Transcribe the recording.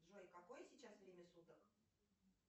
джой какое сейчас время суток